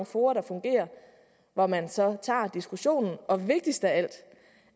fora der fungerer hvor man så tager diskussionen og vigtigst af alt